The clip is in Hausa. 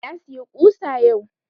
Na siya ƙusa yau